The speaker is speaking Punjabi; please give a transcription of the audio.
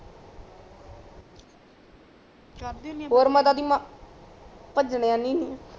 ਭਜਨਾ ਨੀ